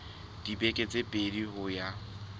dibeke tse pedi ho ya